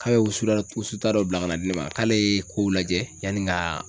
K'a bɛ wusu da wusu ta dɔ bila ka na di ne ma k'ale ye kow lajɛ yani n kaaa